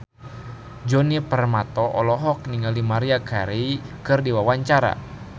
Djoni Permato olohok ningali Maria Carey keur diwawancara